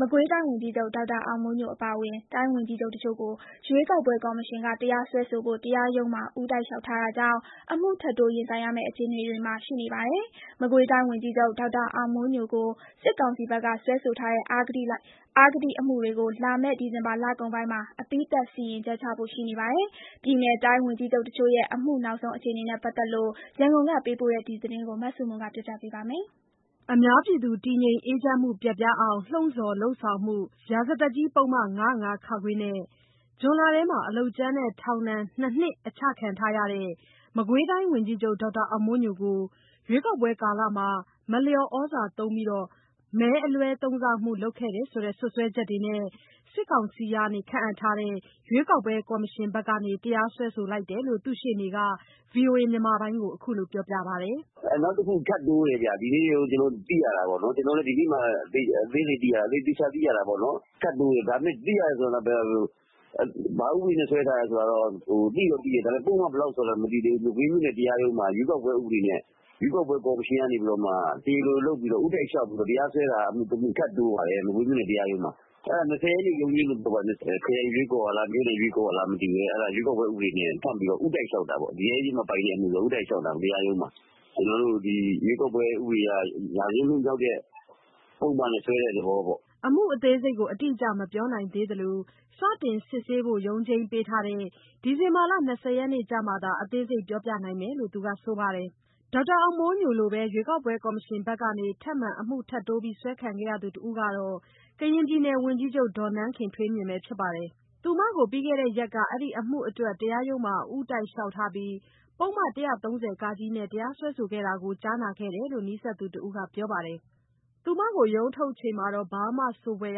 မကွေးတိုင်းဝန်ကြီးချုပ် ဒေါက်တာအောင်မိုးညိုအပါအဝင် တိုင်းဝန်ကြီးချုပ်အချို့ကို ရွေးကောက် ပွဲ ကော်မရှင်က တရားစွဲဆိုဖို့ တရားရုံးဘက်မှာ ဦးတိုက်လျှောက်ထားတာကြောင့် အမှုထပ်တိုး ရင်ဆိုင်ရမယ့် အခြေအနေတွေမှာရှိနေပါတယ်။ မကွေးတိုင်းဝန်ကြီးချုပ် ဒေါက်တာအောင်မိုးညိုကို စစ်ကောင်စီဘက်က စွဲဆိုထားတဲ့ အဂတိအမှုတွေကို လာမယ့် ဒီဇင်ဘာလကုန်ပိုင်းမှာ အပြီးသတ် စီရင်ချက်ချဖို့ ရှိနေပါတယ်။ ပြည်နယ်၊ တိုင်းဝန်ကြီးချုပ်တချို့ရဲ့ အမှု နောက်ဆုံး အခြေအနေနဲ့ပတ်သက်လို့ ရန်ကုန်က ပေးပို့ထားတဲ့သတင်းကိုမဆုမွန်က တင်ပြပေးထားပါတယ်။ အများပြည်သူတည်ငြိမ်းအေးချမ်းမှု ပျက်ပြားအောင် လှုံ့ဆော်လုပ်ဆောင်မှု ရာဇသတ်ကြီး ပုဒ်မ ၅၀၅ နဲ့ ဇွန်လထဲမှာ အလုပ်ကြမ်းနဲ့ ထောင်ဒဏ် ၂ နှစ် ချခံထားရတဲ့ မကွေးတိုင်းဝန်ကြီးချုပ် ဒေါက်တာ အောင်မိုးညိုကိုရွေးကောက်ပွဲကာလ မလျော်ဩဇာသုံးပြီး မဲအလွဲသုံးစားမှုလုပ်တယ်ဆိုတဲ့ စွဲဆိုချက်တွေနဲ့ စစ်ကောင်စီရဲ့ ရွေး ကောက်ပွဲကော်မရှင်ဘက်ကနေ တရားစွဲဆိုလိုက် တာဖြစ်တယ်လို့ သူ့ရှေ့နေက ဗွီအိုအေ ကိုခုလို ပြောပြပါတယ်။ “နောက်တခုထပ်တိုးတယ်ဗျ။ ဒီနေ့သိရတာပေါ့နော်။ ကျနော်တို့လည်း ဒီနေ့မှသေချာသိတာ။ သိရတယ်ဆိုပေမယ့် ဘာဥပဒေနဲ့စွဲထားတယ်ဆိုတာကျတော့ သိတော့သိတယ်။ ပုဒ်မဘယ်လောက်နဲ့ စွဲလဲဆိုတာကတော့ မသိရသေးဘူး။ မကွေးမြို့နယ်တရားရုံးမှာ ရွေးကောက်ပွဲဥပဒေတွေနဲ့ ကော်မရှင်ကနေပြီးတော့မှ တရားရုံးကို ဦးတိုက်လျှောက်တဲ့ အမှုတမှု ထပ်တိုးပါတယ်။ မကွေးမြို့နယ်တရားရုံးမှာ။ အဲဒါ ၂၀ ရက်နေ့ရုံးချိန်း။ ခရိုင်ရွေးကော်ကလား၊ မြို့နယ်ရွေးကော် ကလား မသိဘူး။ ဦးတိုက်လျှောက်တာပေါ့။ ရဲအရေးမပိုင်တဲ့ အမှုဆိုတော့ ဦးတိုက်လျှောက် တာပေါ့။ ရွေးကောက်ပွဲဥပဒေအရ ရာဇဝတ်မှုနဲ့ စွဲတဲ့သဘောပေါ့။” အမှု အသေးစိတ်ကို အတိအကျမပြောနိုင်သေးသလို စတင်စစ်ဆေးဖို့ ရုံးချိန်းပေးထားတဲ့ ဒီဇင် ဘာ ၂၀ရက် နေ့ကျမှသာ အသေးစိတ်ပြောဆိုနိုင်မယ်လို့ သူက ဆိုပါတယ်။ ဒေါက်တာအောင်မိုးညိုလိုပဲ ရွေးကောက်ပွဲကော်မရှင်ဘက်ကနေ ထပ်မံအမှုထပ်တိုးစွဲခံရသူတဦးကတော့ ကရင်ပြည်နယ် ဝန်ကြီးချုပ် နန်းခင်ထွေးမြင့် ဖြစ်ပါတယ်။ သူမကို ပြီးခဲ့တဲ့ရက်က အဲဒီအမှုအတွက် တရားရုံးမှာ ဦးတိုက် လျှောက်ထားပြီး ပုဒ်မ ၁၃၀ နဲ့ တရားစွဲဆိုခဲ့တာကို ကြားနာခဲ့တယ်လို့ နီးစပ်သူ တဦးကပြောပါတယ်။ သူမကို ရုံးထုတ်ချိန်မှာ ဘာမှဆိုဖွယ်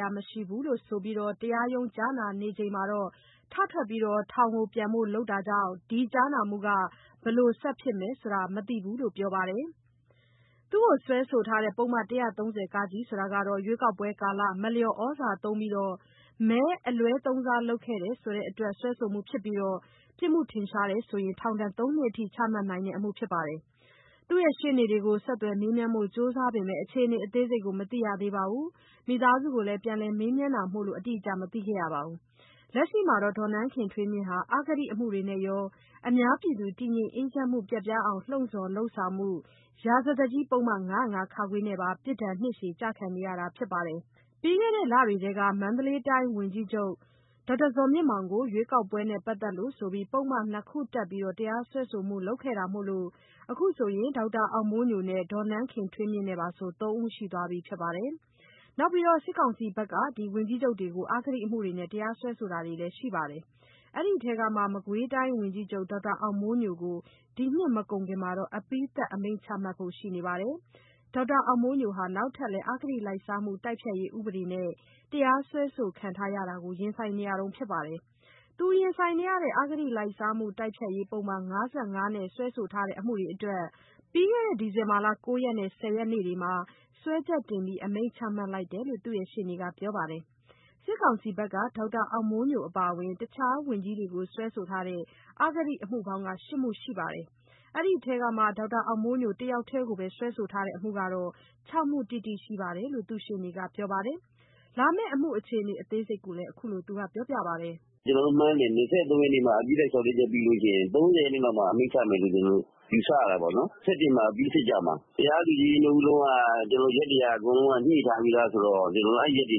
ရာမရှိလို့ဆိုကာ တရားရုံးကြားနာချိန်မှာ ထထွက်ကာ ထောင်ကိုပြန်ဖို့လုပ်တာကြောင့် ဒီကြားနာမှုက ဘယ်လို ဆက်ဖြစ်မယ် ဆိုတာမသိဘူးလို့ ပြောပါတယ်။ သူ့ကို စွဲဆိုတဲ့ ပုဒ်မ ၁၃၀ ဟာ ရွေးကောက်ပွဲကာလ မလျော်ဩဇာသုံးပြီး မဲအလွဲသုံးစားမှု လုပ်တယ်ဆိုတာအတွက် စွဲဆိုမှုဖြစ်ကာပြစ်မှုထင်ရှားရင် ထောင် ၃ နှစ်ထိချမှတ်နိုင်တဲ့အမှုဖြစ်ပါတယ်။ သူမရှေ့နေတွေကိုဆက်သွယ်မေးမြန်းဖို့ ကြိုးစားပေမယ့် အခြေအနေအသေးစိတ် မသိရသေးသလို မိသားစုကိုပြန်လည်မေးမြန်းနေတာမို့ အတိအကျ မသိခဲ့ရပါဘူး။ လက်ရှိမှာတော့ နန်းခင်ထွေးမြင့်ဟာ အဂတိအမှုတွေနဲ့ကော၊ အများပြည်သူတည်ငြိမ်းအေးချမ်းမှု ပျက်ပြားအောင် လှုံ့ဆော်လုပ်ဆောင်မှု ရာဇသတ်ကြီး ပုဒ်မ ၅၀၅ နဲ့ပါ ပြစ်ဒဏ် နှစ်ရှည် ကျခံနေရပါတယ်။ ပြီးခဲ့တဲ့လထဲက မန္တလေးတိုင်းဝန်ကြီးချုပ်ကို ရွေးကောက်ပွဲနဲ့ပတ်သက်လို့ ဆိုပြီး ပုဒ်မ ၂ ခုတပ် တရားစွဲခဲ့တာမို့ အခု ဒေါက်တာ အောင်မိုးညိုနဲ့နန်းခင်ထွေးမြင့် ပါဆို ၃ ဦးရှိသွားပြီ ဖြစ်ပါတယ်။ နောက်ပြီး စစ်ကောင်စီဘက်က ဝန်ကြီးချုပ်တွေကို အဂတိအမှုတွေနဲ့ တရားစွဲဆိုထားတာတွေလည်း ရှိပါတယ်။ အဲဒီထဲမှာ မကွေးတိုင်းဝန်ကြီး ချုပ်ကို ဒီနှစ်မကုန်ခင်မှာ အပြီးသတ်အမိန့်ချမှတ်ဖို့ရှိနေပါတယ်။ ဒေါက်တာ အောင်မိုးညိုဟာ နောက်ထပ်လည်း အဂတိလိုက်စားမှု တိုက်ဖျက်ရေးဥပဒေနဲ့ တရားစွဲဆိုခံထားရတာကို ရင်ဆိုင်နေရဆဲဖြစ်ပါတယ်။ ရင်ဆိုင်နေရတဲ့ အဂတိလိုက်စားမှုတိုက်ဖျက်ရေး ပုဒ်မ ၅၅ နဲ့ စွဲဆိုထားတဲ့ အမှုတွေအတွက် ပြီးခဲ့တဲ့ ဒီဇင်ဘာ ၉ ရက်နဲ့ ၁၀ ရက် တို့မှာ စွဲချက်တင် အမိန့်ချမှတ်လိုက်တယ်လို့ သူ့ရှေ့နေက ပြောပါတယ်။ စစ်ကောင်စီဘက်က ဒေါက်တာအောင်မိုးညိုအပါအဝင် တခြားဝန်ကြီးတွေကို စွဲဆိုထားတဲ့ အဂတိ အမှုပေါင်းဟာ မှုရှိပြီး ဒီထဲမှာ ဒေါက်တာအောင်မိုးညို တယောက်တည်းကို စွဲဆိုထားတာ ၆ မှု တိတိရှိတယ်လို့ သူ့ရှေ့နေက ပြောပါ တယ်။ လာမယ့် အမှု အခြေအနေအသေးစိတ်ကို သူကခုလိုပြောပြတာပါ။ “ကျနော်တို့မှန်းတယ်။ ၂၃ ရက်နေ့မှာ အပြီးသတ်လျှောက်လဲချက်ပြီးရင် ၃၀ ရက်နေ့မှာ အပြီးသတ် အမိန့်ချမယ်လို့ ကျနော်တို့ ယူဆရတာပေါ့နော်။ ၂၁ မှာ အပြီးစစ်ကြမှာ။ တရား သူကြီး ၂ ဦး စလုံးက ရက်တွေက အကုန်ညှိထားပြီဆိုတော့ အဲရက်တွေ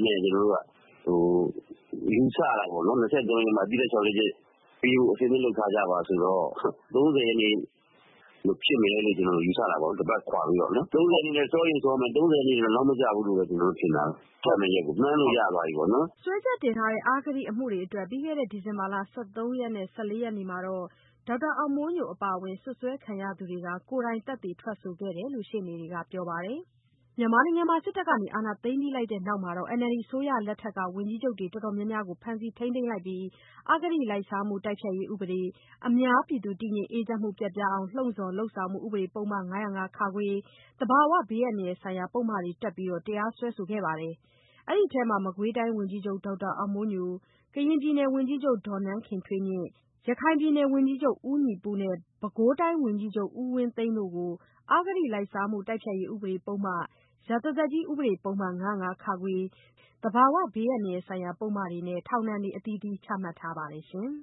လို့ ယူဆရတာပေါ့နော်။ ၂၃ ရက် နေ့မှာ အပြီးသတ်လျှောက်လဲချက်ပေးဖို့ အဆင်သင့်လုပ်ထားကြပါဆိုတော့ ၃၀ ရက်နေ့ဖြစ်မယ်လို့ ယူဆတာပေါ့။ ၁ ပါတ်ပေါ့။ ၃၀ ရက်နေ့ထက် စောရင်စောမယ်၊ အဲဒီထက် နောက်မကျဘူးလို့ ထင်တာပဲ။ ချမယ့်ရက်ကို မှန်းလို့ရသွားပြီပေါ့။” စွဲချက်တင်ထားတဲ့ အဂတိအမှုတွေအတွက် ပြီးခဲ့တဲ့ ဒီဇင်ဘာလ ၁၃ ရက်နဲ့ ၁၄ ရက် တွေမှာ ဒေါက် တာအောင်မိုးညိုအပါအဝင် စွပ်စွဲခံရသူတွေကိုယ်တိုင် သက်သေထွက်ဆိုခဲ့တယ်လို့ ရှေ့နေက ပြောပါ တယ်။ စစ်တပ်က အာဏာသိမ်းလိုက်ပြီးတဲ့နောက် NLD အစိုးရလက်ထက်က ဝန်ကြီးချုပ်တွေ တော်တော် များများကို ဖမ်းဆီးထိန်းသိမ်းပြီး အဂတိလိုက်စားမှု တိုက်ဖျက်ရေး ဥပဒေ၊ အများပြည်သူ တည်ငြိမ် အေးချမ်းမှု ပျက်ပြားအောင်လှုံ့ဆော် လုပ်ဆောင်မှု ဥပဒေ ၅၀၅ နဲ့ သဘာဝဘေးအန္တရာယ်ဆိုင်ရာ ပုဒ်မတွေ တပ်ကာ တရားစွဲဆိုမှုတွေ လုပ်ခဲ့ပါတယ်။ ဒီထဲမှာ မကွေးတိုင်းဝန်ကြီးချုပ် ဒေါက်တာ အောင်မိုးညို၊ ကရင်ပြည်နယ်ဝန်ကြီးချုပ် ဒေါ်နန်းခင်ထွေးမြင့်၊ ရခိုင်ပြည်နယ် ဝန်ကြီးချုပ် ဦးညီပုနဲ့ ပဲခူးတိုင်းဝန်ကြီး ချုပ် ဦးဝင်းသိန်းတို့ကို အဂတိလိုက်မှု တိုက်ဖျက်ရေးဥပဒေ ပုဒ်မ၊ ရာဇသတ်ကြီး ဥပဒေပုဒ်မ ၅၀၅ ၊ သဘာဝဘေးအန္တရာယ်ဆိုင်ရာ ပုဒ်မတွေနဲ့ထောင် ဒဏ်တွေ ချမှတ် ထားပါတယ်ရှင်။